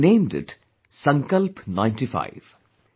And they named it 'Sankalp 95'